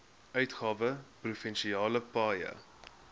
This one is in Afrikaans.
uitgawe provinsiale paaie